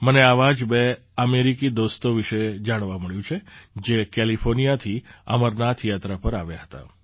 મને આવા જ બે અમેરિકી દોસ્તો વિશે જાણવા મળ્યું છે જે કેલિફૉર્નિયાથી અમરનાથ યાત્રા પર આવ્યા હતા